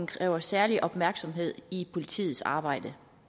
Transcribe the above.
kræver særlig opmærksomhed i politiets arbejde